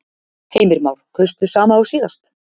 Heimir Már: Kaustu sama og síðast?